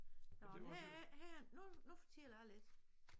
Nåh her er her er nu nu fortæller jeg lidt